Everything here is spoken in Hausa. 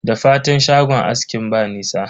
Da fatan shagon askin ba nisa?